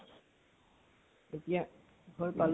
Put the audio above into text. এতিয়া ঘৰ